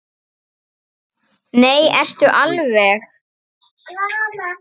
Nei, ertu alveg.